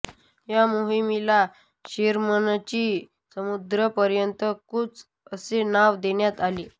या मोहीमेला शेरमनची समुद्रापर्यंतची कूच असे नाव देण्यात आले